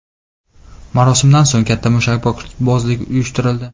Marosimdan so‘ng katta mushakbozlik uyushtirildi.